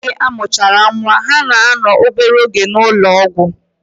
Oge amuchara nwaa, ha na ano obere oge na ulo ogwu.